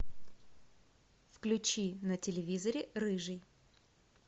включи на телевизоре рыжий